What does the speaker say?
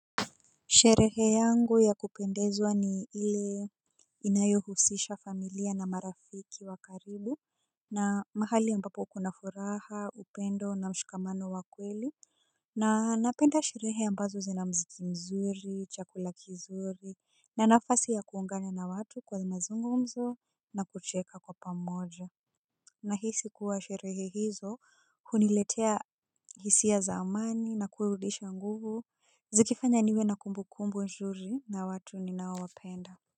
Sherehe yangu ya kupendezwa ni ile inayohusisha familia na marafiki wa karibu na mahali ambapo kuna furaha upendo na mshikamano wa kweli. Na napenda sherehe ambazo zina mziki mzuri, chakula kizuri, na nafasi ya kuungana na watu kwenye mazungumzo na kucheka kwa pamoja. Nahisi kuwa sherehe hizo huniletea hisia za amani na kurudisha nguvu. Zikifanya niwe na kumbukumbu nzuri na watu ninaowapenda.